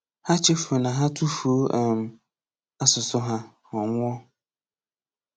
Ha chefuru na ha tufuo um asụsụ ha, ọ nwụọ.